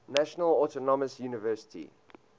national autonomous university